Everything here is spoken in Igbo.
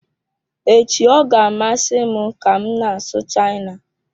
Echi ọ ga-amasị m ka m na-asụ China.